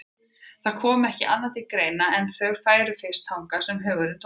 Það kom ekki annað til greina en að þau færu fyrst þangað sem hugurinn dvaldi.